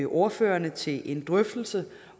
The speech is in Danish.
ordførerne til en drøftelse